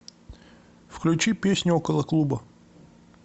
включи песню около клуба